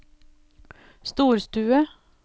storstue